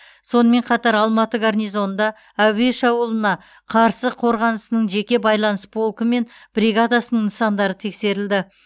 сонымен қатар алматы гарнизонында әуе шабуылына қарсы қорғанысының жеке байланыс полкі мен бригадасының нысандары тексерілді